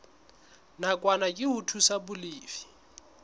nakwana ke ho thusa balefi